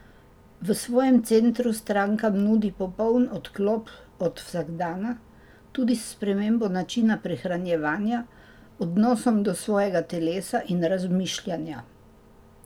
V svojem centru strankam nudi popoln odklop od vsakdana, tudi s spremembo načina prehranjevanja, odnosom do svojega telesa in razmišljanja.